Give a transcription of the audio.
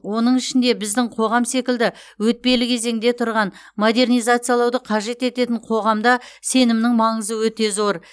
оның ішінде біздің қоғам секілді өтпелі кезеңде тұрған модернизациялауды қажет ететін қоғамда сенімнің маңызы өте зор